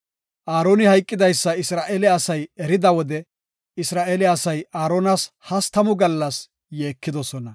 Aaroni hayqidaysa Isra7eele asay erida wode Isra7eele asay Aaronas hastamu gallas yeekidosona.